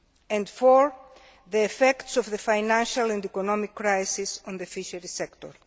and fourthly, the effects of the financial and economic crisis on the fisheries sector.